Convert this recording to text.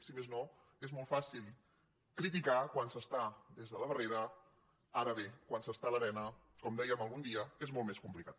si més no és molt fàcil cri·ticar quan s’està des de la barrera ara bé quan s’està a l’arena com dèiem algun dia és molt més complicat